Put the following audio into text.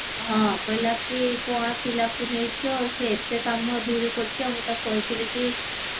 ହଁ କହିଲା କି କଣ ପିଲାକୁ ନେଇଚ ସେ ଏତେ କାମ ଧୀରେ କରୁଚି ମୁଁ ତାକୁ କହିଥିଲି କି